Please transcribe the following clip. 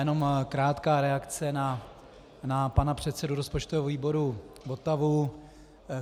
Jenom krátká reakce na pana předsedu rozpočtového výboru Votavu.